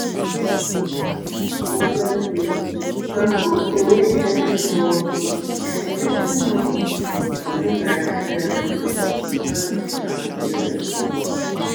to store breast milk na something wey every um expecting mother suppose sabi like um and take am seriously